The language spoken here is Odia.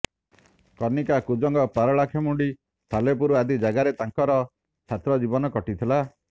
କନିକା କୁଜଙ୍ଗ ପାରଳାଖେମୁଣ୍ଡି ସାଲେପୁର ଆଦି ଯାଗାରେ ତାଙ୍କର ଛାତ୍ର ଜୀବନ କଟିଥିଲା